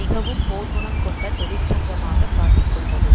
மிகவும் போர்க்குணம் கொண்ட தொழிற்சங்கமாக காட்டிக்கொண்டது